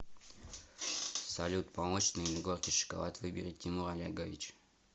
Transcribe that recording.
салют молочный или горький шоколад выберет тимур олегович